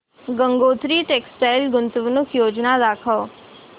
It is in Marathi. गंगोत्री टेक्स्टाइल गुंतवणूक योजना दाखव